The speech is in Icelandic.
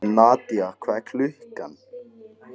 Nadia, hvað er klukkan?